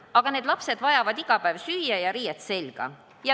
Aga need lapsed vajavad iga päev süüa ja riiet selga.